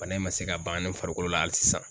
Bana in ma se ka bannen farikolo la hali sisan.